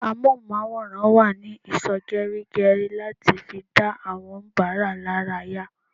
Amohunmaworan wa ní ìsò geri geri láti fi dá àwọn onibara laraya